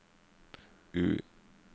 U